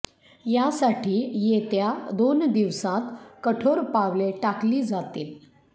यासाठी येत्या दोन दिवसांत कठोर पावले टाकली जातील